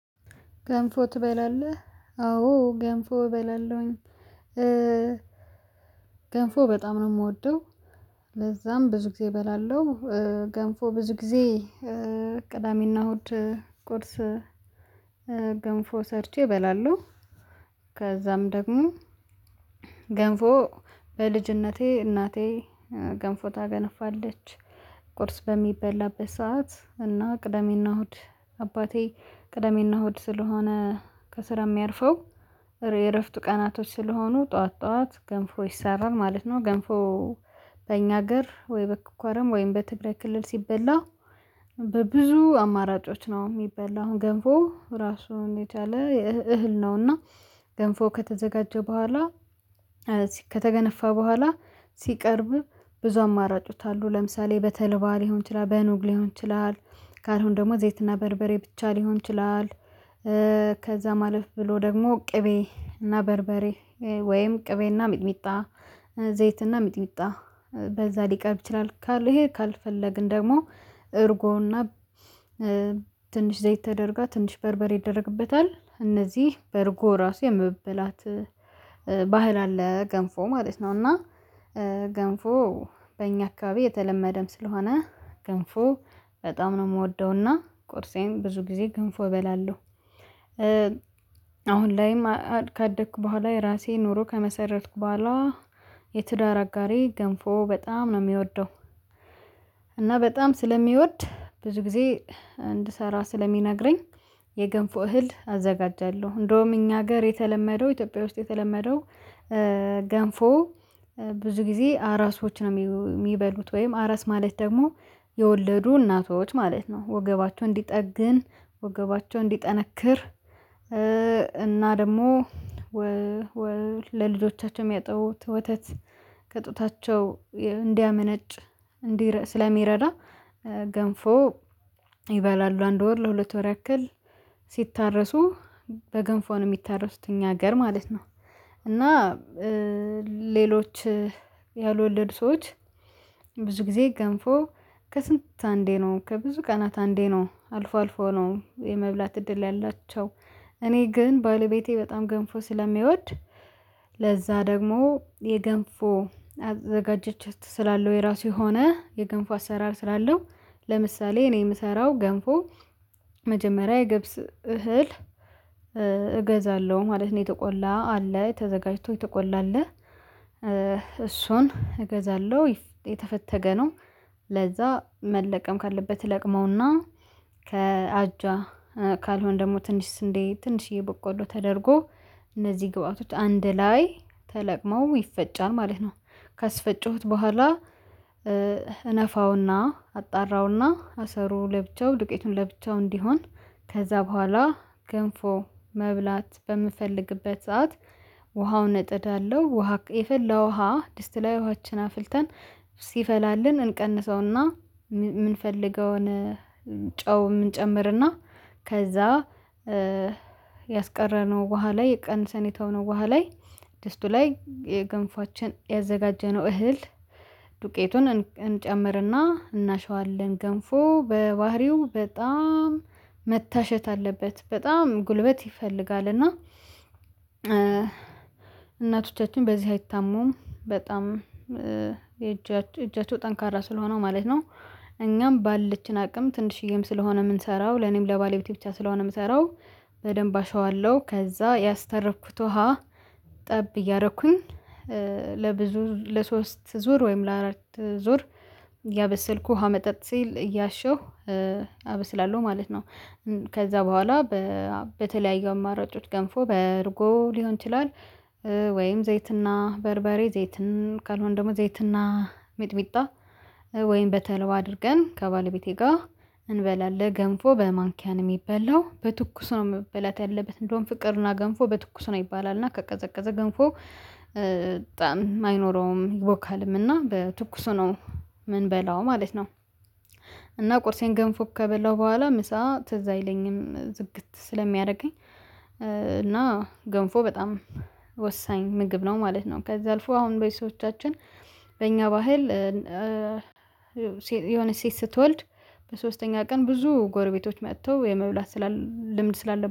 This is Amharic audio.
ገንፎ ትበላለህ አዎ ገንፎ እበላለሁኝ። ገንፎ በጣም ነው የምወደው። ለዛም ብዙ ጊዜ እበላለሁ። ገንፎ ብዙ ጊዜ ቅዳሜና እሁድ ቁርስ ገንፎ ሰርቼ እበላለሁ። ከዛም ደግሞ ገንፎ በልጅነቴ እናቴ ገንፎ ታገነፋለች ቁርስ በሚበላበት ሰዓት እና ቅደሜና እሁድ አባቴ ቅደሜና እሁድ ስለሆነ ከስራ የሚያርፈው የእረፍት ቀናቶች ስለሆኑ ጠዋት ጠዋት ገንፎ ይሰራል ማለት ነው። ገንፎ በእኛ ሀገር ወይ በኮረም ወይም በትግራይ ክልል ሲበላ በብዙ አማራጮች ነው። የሚበላው አሁን ገንፎ ራሱን የቻለ እህል ነውና ገንፎ ከተዘጋጀ በኋላ ከተገነፋ በኋላ ሲቀርብ ብዙ አማራጮች አሉ ለምሳሌ በተልባ ሊሆን ይችላል በኑግ ሊሆን ይችላል ካልሆነ ደግሞ ዘይትና በርበሬ ብቻ ሊሆን ይችላል። ከዛም አማለፍ ብሎ ደግሞ ቅቤ እና በርበሬ ወይም ቅቤ እና ሚጥሚጣ ዘይት እና ሚጥሚጣ በዛ ሊቀርብ ይችላል። ይሄ ካልፈለግን ደግሞ እርጎና ትንሽ ዘይት ተደርጋ ትንሽ በርበሬ ይደረግበታል። እነዚህ በርጎ ራሱ የመብላት ባህል አለ ገንፎ ማለት ነው። እና ገንፎ በእኛ አካባቢ የተለመደም ስለሆነ ግንፎ በጣም ነው የምወደውና ቁርሴም ብዙ ጊዜ ግንፎ እበላለሁ። አሁን ላይም ካደኩ በኋላ የራሴ ኑሮ ከመሰረትኩ ባሏ የትዳር አጋሬ ገንፎ በጣም ነው የሚወደው። እና በጣም ስለሚወድ ብዙ ጊዜ እንድሰራ ስለሚነግረኝ የገንፎ እህል አዘጋጃለሁ። እንደውም እኛ ሀገር የተለመደው ኢትዮጵያ ውስጥ የተለመደው ገንፎ ብዙ ጊዜ አራሶች ነው የሚበሉት ወይም አራስ ማለት ደግሞ የወለዱ እናቶች ማለት ነው። ወገባቸውን እንዲጠግን ወገባቸውን እንዲጠነክር እና ደግሞ ለልጆቻቸው የሚያጠቡት ወተት ከጡታቸው እንዲያመነጭ ስለሚረዳ ገንፎ ይበላሉ አንድ ወር ለሁለት ወር ያክል ሲታረሱ በገንፏ ነው የሚታረሱት እኛ ሀገር ማለት ነው። እና ሌሎች ያልወለድ ሰዎች ብዙ ጊዜ ገንፎ ከስንት አንዴ ነው ከብዙ ቀናት አንዴ ነው አልፎ አልፎ ነው የመብላት እድል ያላቸው። እኔ ግን ባለቤቴ በጣም ገንፎ ስለሚወድ ለዛ ደግሞ የገንፎ አዘገጃጀት ስላለው የራሱ የሆነ የገንፎ አሰራር ስላለው ለምሳሌ እኔ የምሰራው ገንፎ መጀመሪያ የገብስ እህል እገዛለሁ ማለት ነው። የተቆላ አለ ተዘጋጅቶ የተቆላ አለ እሱን እገዛለሁ የተፈተገ ነው። ለዛ መለቀም ካለበት ይለቅመውና ከአጇ ካልሆነ ደግሞ ትንሽ ስንዴ ትንሽዬ በቆሎ ተደርጎ እነዚህ ግብአቶች አንድ ላይ ተለቅመው ይፈጫል ማለት ነው። ካስፈጨሁት በኋላ እነፋውና አጣራውና አሰሩ ለብቻው ዱቄቱን ለብቻው እንዲሆን ከዛ በኋላ ገንፎ መብላት በምፈልግበት ሰዓት ውሃውን እጥዳለሁ ውሃ የፈላ ውሃ ድስት ላይ ውሃችን አፍልተን ሲፈላልን እንቀንሰውና የምንፈልገውን ጨውየ እንጨምርና ከዛ ያስቀረነው ውሃ ላይ ቀንሰን የተውነው ውሃ ላይ ድስቱ ላይ የገንፎአችን ያዘጋጀነው እህል ዱቄቱን እንጨምርና እናሽዋለን። ገንፎ በባህሪው በጣም መታሸት አለበት በጣም ጉልበት ይፈልጋል እና እናቶቻችን በዚህ አይታሙም በጣም የእጃቸው እጃቸው ጠንካራ ስለሆነው ማለት ነው። እኛም ባለችን አቅም ትንሽዬም ስለሆነ የምንሰራው ለኔም ለባለቤቴ ብቻ ስለሆነ የምሰራው በደንብ አሸዋለሁ ከዛ ያስተረፍኩት ውሃ ጠብ እያረኩኝ ለብዙ ለሶስት ዙር ወይም ለአራት ዙር እያበሰልኩ ውሃ መጠጥ ሲል እያሸሁ አበስላለሁ ማለት ነው። ከዛ በኋላ በተለያዩ አማራጮች ገንፎ በእርጎ ሊሆን ይችላል። ወይም ዘይትና በርበሬ ዘይትን ካልሆን ደግሞ ዘይትና ሚጥሚጣ ወይም በተልባ አድርገን ከባለቤቴ ጋር እንበላለን ገንፎ በማንኪያ ነው የሚበላው በትኩስ ነው መበላት ያለበት እንደውም ፍቅርና ገንፎ በትኩስ ነው ይባላል። እና ከቀዘቀዘ ገንፎ ጣዕም አይኖረውም ይቦካልም እና በትኩሱ ነው የምንበላው ማለት ነው። እና ቁርሴን ገንፎ ከበላው በኋላ ምሳ ትዝ አይለኝም ዝግት ስለሚያደርገኝ እና ገንፎ በጣም ወሳኝ ምግብ ነው ማለት ነው። ከዛ አልፎ አሁን ቤተሰቦቻችን በእኛ ባህል የሆነች ሴት ስትወልድ በሶስተኛ ቀን ብዙ ጎረቤቶች መጥተው የመብላት ስላል ልምድ ስላለ